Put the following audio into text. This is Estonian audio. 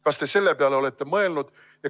Kas te selle peale olete mõelnud?